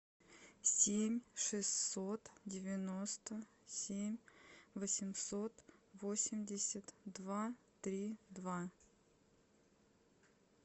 семь шестьсот девяносто семь восемьсот восемьдесят два три два